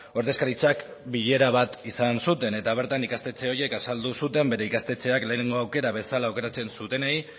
ordezkaritzak bilera bat izan zuten eta bertan ikastetxe horiek azaldu zuten bere ikastetxeak lehenengo aukera bezala aukeratzen zutenei